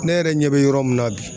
Ne yɛrɛ ɲɛ be yɔrɔ min na bi